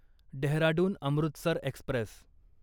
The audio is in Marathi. डेहराडून अमृतसर एक्स्प्रेस